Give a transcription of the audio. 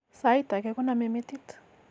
Sait age koname metit